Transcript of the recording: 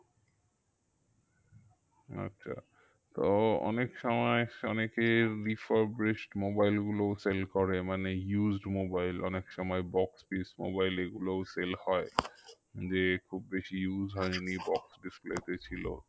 আচ্ছা তো অনেক সময় অনেকে mobile গুলোও sell করে মানে used mobile অনেক সময় box pis mobile এগুলোও sell হয় যে খুব বেশি use হয়নি box display তে ছিল